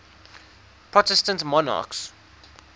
protestant monarchs